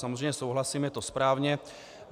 Samozřejmě souhlasím, je to správně.